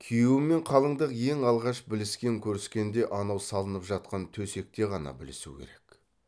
күйеу мен қалыңдық ең алғаш біліскен көріскенде анау салынып жатқан төсекте ғана білісу керек